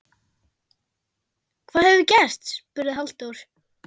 Hvað hefur gerst? spurði Halldór.